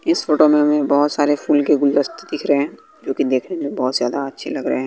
इस फोटो में हमें बहोत सारे फूल के गुलदस्ते दिख रे हैं जो कि देखने में बहोत ज्यादा अच्छे लग रे हें।